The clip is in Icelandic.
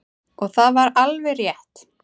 Og það var alveg rétt.